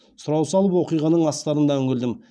сұрау салып оқиғаның астарына үңілдім